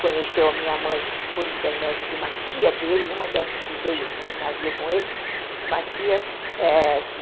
Conheceu a minha mãe por intermédio de uma tia dele, uma dessas que veio no navio com eles, uma tia é... que...